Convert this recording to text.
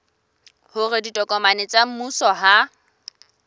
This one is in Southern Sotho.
hore ditokomane tsa mmuso ha